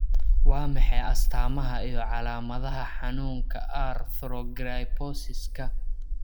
Waa maxay astamaha iyo calaamadaha xanuunka 'Arthrogryposiska'?